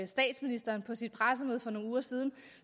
statsministeren på sit pressemøde for nogle uger siden